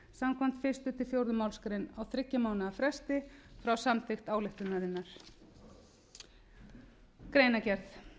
samkvæmt fyrstu til fjórðu málsgrein á þriggja mánaða fresti frá samþykkt ályktunarinnar greinargerð